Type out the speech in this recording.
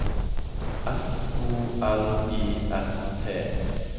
S O L I S T